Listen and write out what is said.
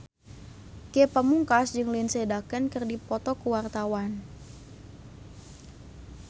Ge Pamungkas jeung Lindsay Ducan keur dipoto ku wartawan